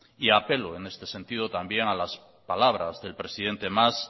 y apelo en este sentido también a las palabras del presidente mas